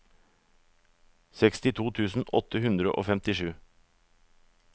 sekstito tusen åtte hundre og femtisju